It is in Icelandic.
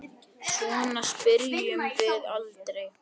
Svona spyrjum við aldrei.